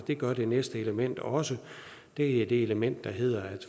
det gør det næste element også det er det element der hedder